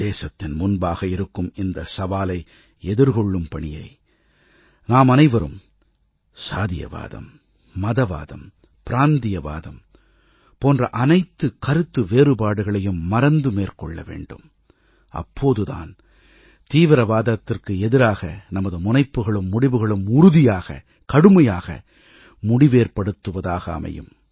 தேசத்தின் முன்பாக இருக்கும் இந்த சவாலை எதிர்கொள்ளும் பணியை நாமனைவரும் சாதியவாதம் மதவாதம் பிராந்தியவாதம் போன்ற அனைத்து கருத்து வேறுபாடுகளையும் மறந்து மேற்கொள்ளவேண்டும் அப்போது தான் தீவிரவாதத்திற்கு எதிராக நமது முனைப்புகளும் முடிவுகளும் உறுதியாக கடுமையாக முடிவேற்படுத்துவதாக அமையும்